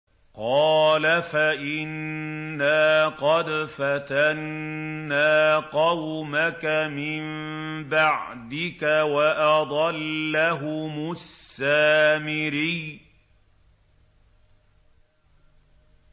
قَالَ فَإِنَّا قَدْ فَتَنَّا قَوْمَكَ مِن بَعْدِكَ وَأَضَلَّهُمُ السَّامِرِيُّ